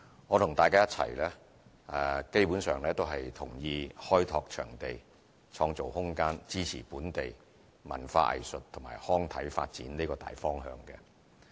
我和大家一樣，基本上同意"開拓場地，創造空間，支持本地文化藝術及康體發展"這個大方向。